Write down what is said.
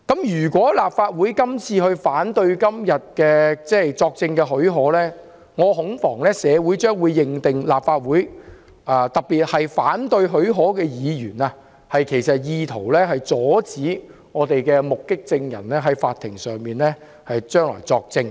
如果立法會今天反對給予許可，我恐怕社會將會認定立法會，特別是反對給予許可的議員，意圖阻止目擊證人日後在法院作證。